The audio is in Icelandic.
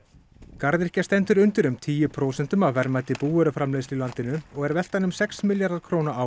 garðyrkja stendur undir um tíu prósentum af verðmæti búvöruframleiðslu í landinu og er veltan um sex milljarðar króna á